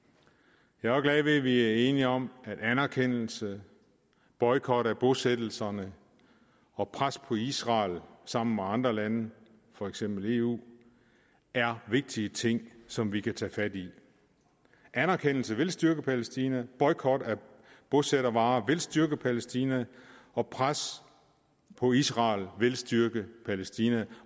jeg glad ved at vi er enige om at anerkendelse boykot af bosættelserne og pres på israel sammen med andre lande for eksempel i eu er vigtige ting som vi kan tage fat i anerkendelse vil styrke palæstina boykot af bosættervarer vil styrke palæstina og pres på israel vil styrke palæstina